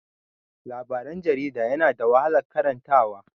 Labaran jarida yana da wahalan karanta wa.